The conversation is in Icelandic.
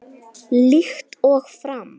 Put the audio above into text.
Líkt og fram